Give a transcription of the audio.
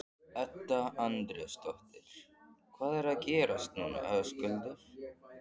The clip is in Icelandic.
Edda Andrésdóttir: Hvað er að gerast núna Höskuldur?